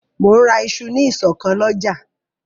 Mò ń ra isu ní ìsọ̀ kan lọ́jà